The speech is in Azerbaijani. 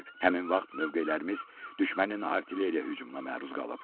Həmin vaxt mövqelərimiz düşmənin artilleriya hücumuna məruz qalıb.